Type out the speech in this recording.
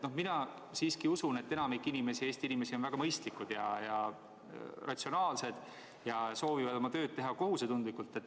Mina siiski usun, et enamik Eesti inimesi on väga mõistlikud ja ratsionaalsed ning soovivad oma tööd teha kohusetundlikult.